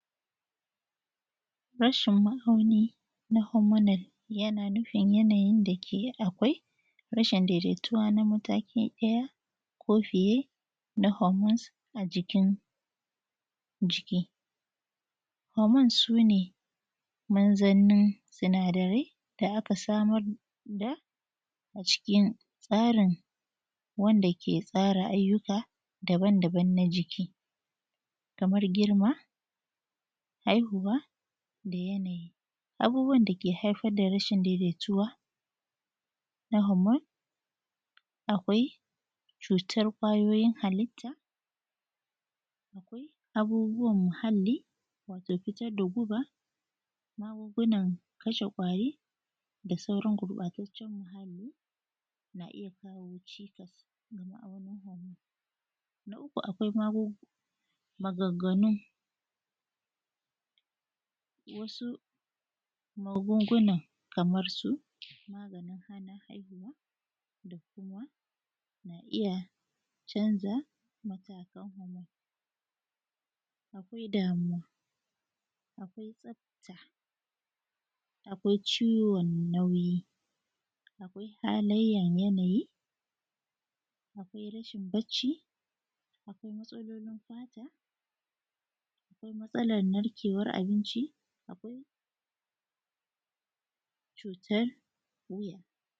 Rashin ma'auni na hormonal yana nufin yanayin da ke akwai rashin daidaituwa na mataki ɗaya ko fiyee na hormones a jikin a jiki. Hormones su ne manzannin sanadarai da aka samar da ga cikin tsarin wanda ke tsara ayyuka daban-daban na jiki, kamar girma, haihuwa, da yanayi. Abubuwan da ke haifar da rashin daidaituwa na hormone akwai cuutar ƙwayooyin halitta, akwai abubuwan muhallii waatoo fitar da guba maagungunan kashe ƙwaari da sauran gurɓaataccen muhalli ya iya kawoo ciikas a ma'aunin hormone. Na uku akwai magu maganganu wasu magungunan kamar su; maganin hana haihuwa da kuma na iya canza matakan hormone, akwai damuwa, akwai tsafta, akwai ciwon nauyi, akwai halayyar yanayi, akwai rashin bacci, akwai matsaloolin fata, akwai matsalar narkewar abinci, akwai cutar wuya.